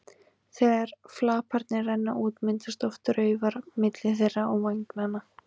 Þegar flaparnir renna út myndast oft raufar milli þeirra og vængjanna.